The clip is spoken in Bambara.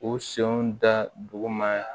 U senw da duguma